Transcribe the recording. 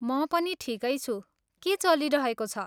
म पनि ठिकै छु। के चलिरहेको छ?